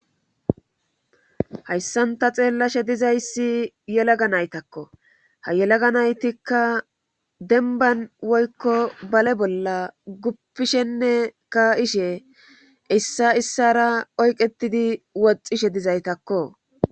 Hayssanta xeellashe dizayssi yelaga naytakko ha yelaga naytikka denban woykko bale bolla guppishenne ka ishe issa issara oyqetidi woxishe dizaytakko.